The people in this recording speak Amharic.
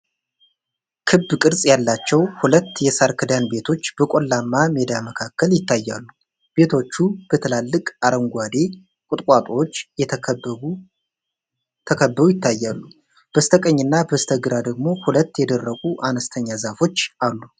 ክብ ቅርጽ ያላቸው ሁለት የሳር ክዳን ቤቶች በቆላማ ሜዳ መካከል ይታያሉ። ቤቶቹ በትላልቅ አረንጓዴ ቁጥቋጦዎች ተከበው ይታያሉ፤ በስተቀኝና በስተግራ ደግሞ ሁለት የደረቁ አነስተኛ ዛፎች አሉ።